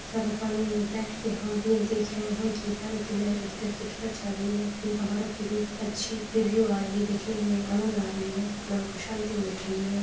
जहाँ पर पानीयों में बैठ के हम भी यह देख रहे हैं कि पानी की लहरे किधर से किधर जा रही है इन पहाड़ों के बीच अच्छी रिव्यु आ रही है देखने में आनंद आ रही है मन को शांति मिल रही हैं।